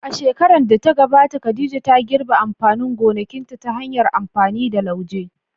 A shekarar da ta gabata, Khadija ta girbe amfanin gonakinta ta hanyar amfani da lauje.